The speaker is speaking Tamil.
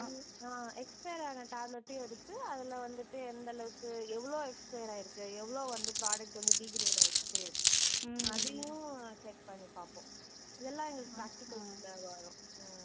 ஹம் ஆஹ் expiry ஆன tablet டயும் எடுத்து அதுல வந்துட்டு எந்தளவுக்கு எவ்ளோ expiry ஆயிருக்கு. எவ்ளோ வந்து product வந்து degrade ஆயிருச்சு. அதையும் check பண்ணி பார்ப்போம். இதெல்லாம் எங்களுக்கு practicals ல வரும். உம்